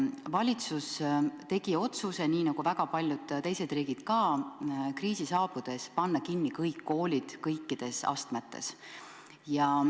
Valitsus tegi otsuse – nii nagu väga paljud teised riigid ka – kriisi saabudes panna kinni kõik koolid kõikides astmetes.